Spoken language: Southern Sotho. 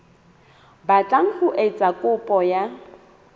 batlang ho etsa kopo ya